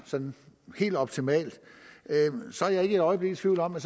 sådan helt optimalt er jeg ikke et øjeblik i tvivl om at